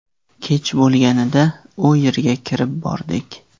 Kech bo‘lganida u yerga kirib bordik.